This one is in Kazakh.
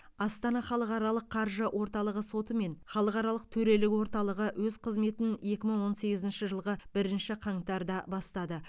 астана халықаралық қаржы орталығы соты мен халықаралық төрелік орталығы өз қызметін екі мың он сегізінші жылғы бірінші қаңтарда бастады